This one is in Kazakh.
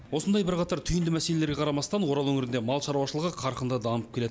осындай бірқатар түйінді мәселеге қарамастан орал өңірінде мал шаруашылығы қарқынды дамып келеді